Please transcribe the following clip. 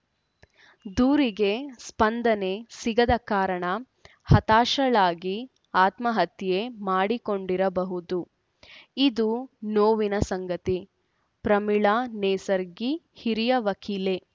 ದೂರಿಗೆ ಸ್ಪಂದನೆ ಸಿಗದ ಕಾರಣ ಹತಾಶಳಾಗಿ ಆತ್ಮಹತ್ಯೆ ಮಾಡಿಕೊಂಡಿರಬಹುದು ಇದು ನೋವಿನ ಸಂಗತಿ ಪ್ರಮೀಳಾ ನೇಸರ್ಗಿ ಹಿರಿಯ ವಕೀಲೆ